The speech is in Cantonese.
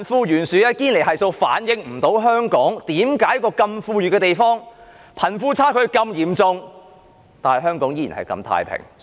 堅尼系數無法解釋，在香港這個富裕的地方，為何貧富差距如此嚴重，卻依然相對太平？